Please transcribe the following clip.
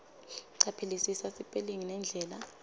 caphelisisa sipelingi nendlela